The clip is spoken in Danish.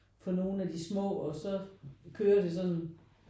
For nogen af de små og så kører det sådan